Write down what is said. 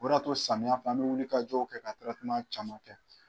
O de y'a to samiya fɛ an be wuli ka jow kɛ ka tirɛteman caman kɛ